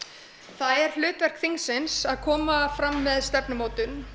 það er hlutverk þingsins að koma fram með stefnumótun